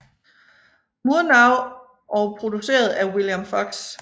Murnau og produceret af William Fox